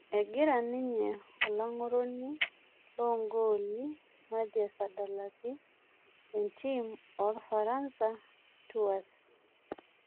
Egira ninye olang'oroni loo gooli Mathias adalaki entim orfaransa Tours